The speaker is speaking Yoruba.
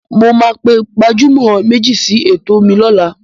Mo máa pe gbajúmọ̀ méjì sí ètò mi lọ́la.